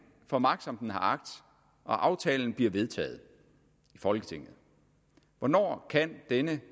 får magt som den har agt og aftalen bliver vedtaget i folketinget hvornår kan denne